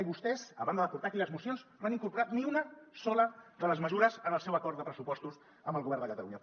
i vostès a banda de portar aquí les mocions no han incorporat ni una sola de les mesures en el seu acord de pressupostos amb el govern de catalunya